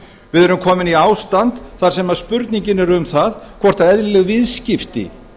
við erum komin í ástand þar sem spurningin er um það hvort eðlileg viðskipti